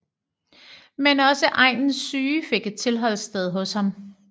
Men også egnens syge fik et tilholdssted hos ham